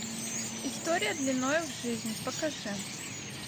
история длиною в жизнь покажи